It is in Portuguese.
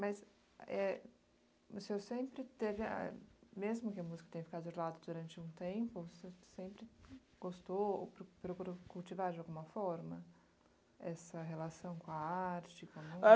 Mas é o senhor sempre teve, ah mesmo que a música tenha ficado de lado durante um tempo, você sempre gostou, procurou cultivar de alguma forma essa relação com a arte com a